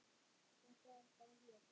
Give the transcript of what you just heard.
Þetta er bara hér.